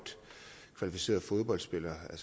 kvalificeret fodboldspiller er